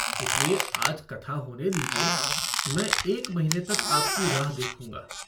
इसलिए आज कथा होने दीजिए मैं एक महीने तक आपकी राह देखूँगा।